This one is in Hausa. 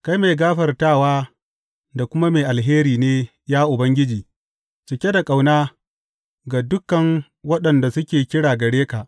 Kai mai gafartawa da kuma mai alheri ne, ya Ubangiji, cike da ƙauna ga dukan waɗanda suke kira gare ka.